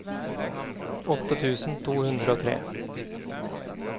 åtte tusen to hundre og tre